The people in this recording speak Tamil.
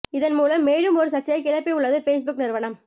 இதன் மூலம் மேலும் ஒரு சர்ச்சையை கிளப்பி உள்ளது பேஸ்புக் நிறுவனம்